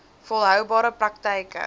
volhoubare praktyk e